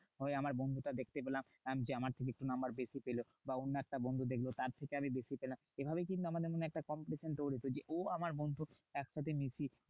হয় আমার বন্ধুটার দেখতে পেলাম কি আমার থেকে একটু number বেশি পেলো। বা অন্য একটা বন্ধু দেখলো তার থেকে আমি বেশি পেলাম। এভাবেই কিন্তু আমাদের মনে একটা competition তৈরী হতো। যে ও আমার বন্ধু একসাথে মিশি।